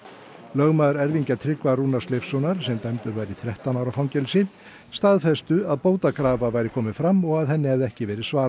lögmaður erfingja Tryggva Rúnars Leifssonar sem dæmdur var í þrettán ára fangelsi staðfesti að bótakrafa væri komin fram og að henni hefði ekki verið svarað